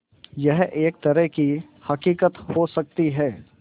यह एक तरह की हक़ीक़त हो सकती है